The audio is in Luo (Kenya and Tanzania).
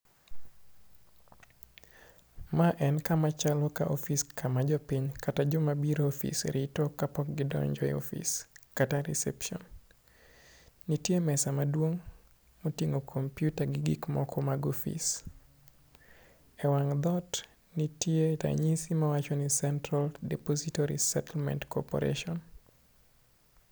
Ma en kama chalo ka office kama jopiny kata joma bire office rito kapok gidonjo e office kata reception. Nitie mesa maduong' moting'o gik moko mag office e wang' dhot ntie ranyisi mawacho ni central depository settlement corperation